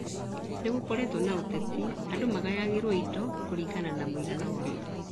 Nĩgũkoretwo na ũteti andũ magayagĩrwo indo kũringana na mũigana wao